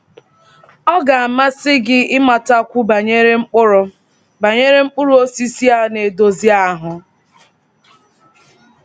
Ọ ga-amasị gị ịmatakwu banyere mkpụrụ banyere mkpụrụ osisi a na-edozi ahụ?